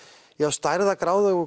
stærðargráðu og